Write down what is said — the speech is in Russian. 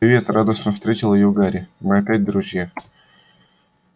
привет радостно встретил её гарри мы опять друзья